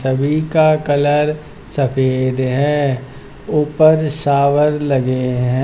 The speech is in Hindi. सभी का कलर सफेद है ऊपर शावर लगे हैं।